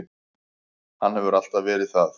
Hann hefur alltaf verið það.